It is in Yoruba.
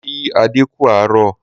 Mo kí adé kú àárọ̀